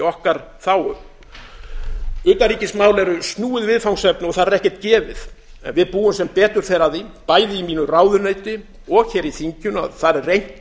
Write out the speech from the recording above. okkar þágu utanríkismál eru snúið viðfangsefni og þar er ekkert gefið við búum sem betur fer að því bæði í mínu ráðuneyti og hér í þinginu að þar er reynt